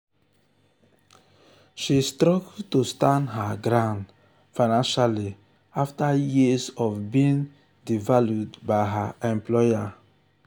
she struggle to stand her ground financially afta years of being undervalued by her employer.